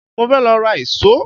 Mo fẹ́ lọ ra ìṣó